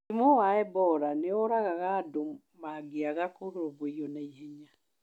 Mũrimũ wa Ebola nĩ ũragaga andũ mangĩaga kũrũmbũiyo na ihenya